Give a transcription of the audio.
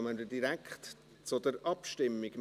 Dann kommen wir direkt zur Abstimmung.